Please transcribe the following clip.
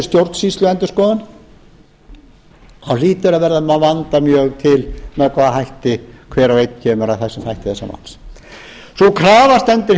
stjórnsýsluendurskoðun þá hlýtur að verða að vanda mjög til með hvaða hætti hver og einn kemur að þessum þætti þessa máls sú krafa stendur hjá már